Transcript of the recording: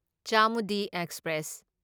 Chamundi express